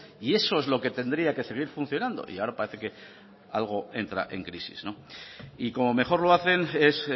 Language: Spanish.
y eso es lo que tendría que seguir funcionando y ahora parece que algo entra en crisis y como mejor lo hacen es